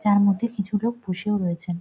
যার মধ্যে কিছু লোক বসেও রয়েছেন ।